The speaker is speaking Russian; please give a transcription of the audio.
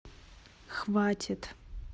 хватит